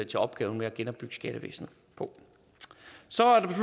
til opgaven med at genopbygge skattevæsenet på så er